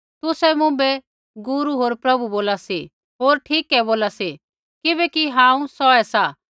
तुसै मुँभै गुरू होर प्रभु बोला सी होर ठीकै बोला सी किबैकि हांऊँ सौहै सा